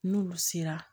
N'olu sera